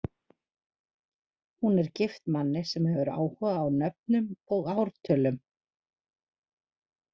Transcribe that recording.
Hún er gift manni sem hefur áhuga á nöfnum og ártölum.